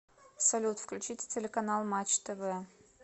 салют включите телеканал матч тв